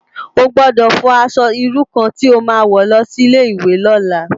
Ó gbòdò fò aṣò irú kàn ti ó má wò lòsi Ilé iwé lòlá